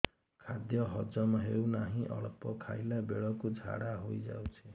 ଖାଦ୍ୟ ହଜମ ହେଉ ନାହିଁ ଅଳ୍ପ ଖାଇଲା ବେଳକୁ ଝାଡ଼ା ହୋଇଯାଉଛି